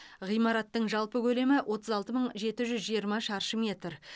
ғимараттың жалпы көлемі отыз алты мың жеті жүз жиырма шаршы метр